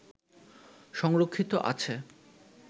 সংরক্ষিত আছে